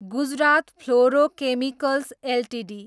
Gujarat Fluorochemicals Ltd